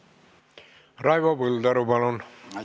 Raivo Põldaru, palun!